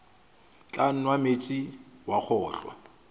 tla nwa meetse wa kgolwa